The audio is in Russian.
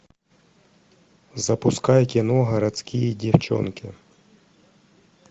запускай кино городские девчонки